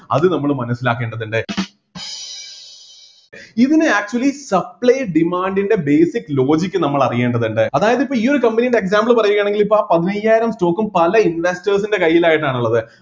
അത് നമ്മള് മനസ്സിലാക്കേണ്ടതുണ്ട് ഇന്ന് actually supply demand ൻ്റെ basic logic നമ്മള് അറിയേണ്ടതുണ്ട് അതായത് ഇപ്പൊ ഈ ഒരു company ന്റെ example പറയുകയാണെങ്കില് ഇപ്പൊ ആ പതിനയ്യായിരം stock ഉം പല investors ൻ്റെ കൈയിലായിട്ടാണ് ഉള്ളത്